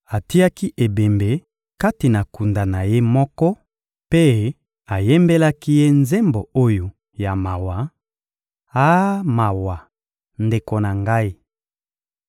Atiaki ebembe kati na kunda na ye moko mpe ayembelaki ye nzembo oyo ya mawa: — Ah, mawa, ndeko na ngai!